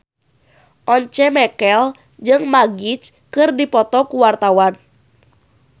Once Mekel jeung Magic keur dipoto ku wartawan